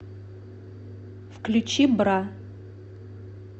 включи бра